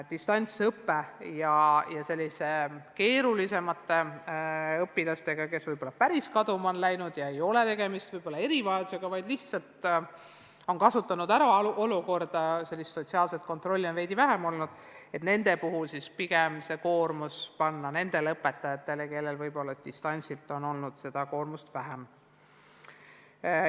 Võib-olla võikski selliste keerulisemate õpilaste puhul, kes on n-ö kaduma läinud ja kelle puhul ei ole tegemist erivajadusega, vaid kes lihtsalt on kasutanud ära olukorda, et sotsiaalset kontrolli on olnud vähem, panna koormuse pigem nendele õpetajatele, kel seni on distantsõppe ajal olnud koormus väiksem.